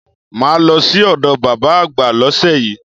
Màá lọ sí òdo bàbá àgbà lósè yíí